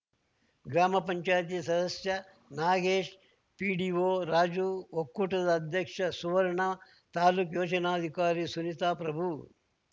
ಗ್ರಾಮ ಪಂಚಾಯತಿ ಸದಸ್ಯ ನಾಗೇಶ್‌ ಪಿಡಿಓ ರಾಜು ಒಕ್ಕೂಟದ ಅಧ್ಯಕ್ಷ ಸುವರ್ಣ ತಾಲೂಕು ಯೋಜನಾಧಿಕಾರಿ ಸುನೀತ ಪ್ರಭು